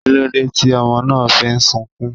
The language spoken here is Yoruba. Kílódé tí ọmọ náà fi ń sukún?